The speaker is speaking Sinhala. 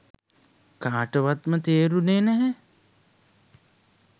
කාටවත්ම තේරුණේ නැහැ.